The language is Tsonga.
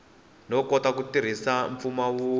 no kota ku tirhisa mimpfumawulo